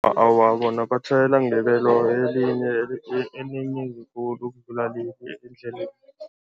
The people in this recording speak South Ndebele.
Awa, bona batjhayela ngebelo elinye elinengi khulu ukudlula endleleni.